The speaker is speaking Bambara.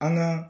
An ka